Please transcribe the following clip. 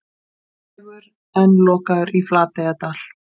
Vegur enn lokaður í Flateyjardal